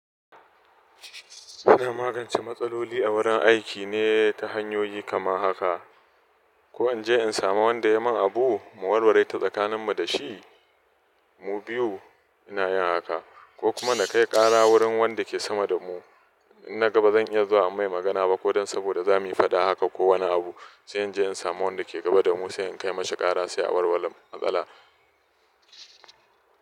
Ina magance matsaloli a wurin aiki ne ta hanyoyi kamar haka. Ko in je in samu wanda ya yi min abu mu warware ta tsakaninmu da shi mu biyu ina yin haka, ko kuma na kai ƙara wurin wanda ke sama da mu. In na ga ba zan iya zuwa a mai magana ba ko don saboda za mu yi fada haka ko wani abu sai in je in samu wanda ke gaba da mu sai in kai masa ƙara sai a warware matsala.